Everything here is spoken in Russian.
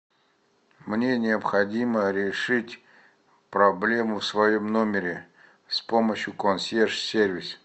мне необходимо решить проблему в своем номере с помощью консьерж сервис